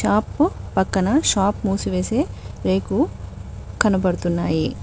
Shop పక్కన shop మూసివేసి రేకు కనబడుతున్నాయి.